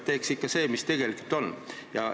Teeks ikka seda, mida tegelikult vaja on.